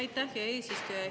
Aitäh, hea eesistuja!